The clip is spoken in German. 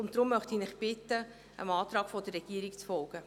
Deshalb möchte ich Sie bitten, dem Antrag der Regierung zu folgen.